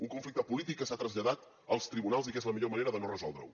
un conflicte polític que s’ha traslladat als tribunals i que és la millor manera de no resoldre’l